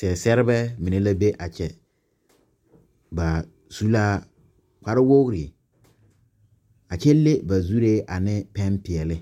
Zeɛzeɛrebɛ mine la be a kyɛ ba su la kparre wogri a kyɛ le ba zuree ne pɛmpeɛle